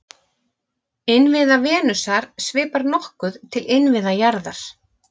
Innviða Venusar svipar nokkuð til innviða jarðar.